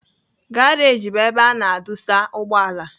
Garaj bụ ebe a na-adụsa ugbọala.